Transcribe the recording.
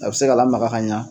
A bɛ se ka lamaga ka ɲa.